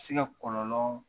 Se ka kɔlɔlɔ